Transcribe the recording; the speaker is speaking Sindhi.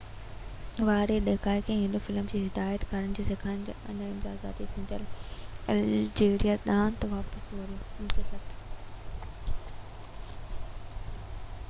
1960 واري ڏهاڪي ۾ هو فلم جي هدايت ڪاري سيکارڻ لاءِ نئين آزاد ٿيندڙ الجيريا ڏانهن واپس وريو